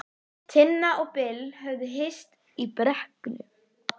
Mikið ósköp var ég allur linur og vantreysti sjálfum mér!